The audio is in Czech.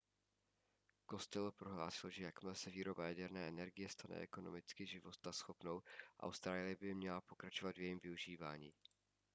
costello prohlásil že jakmile se výroba jaderné energie stane ekonomicky životaschopnou austrálie by měla pokračovat v jejím využívání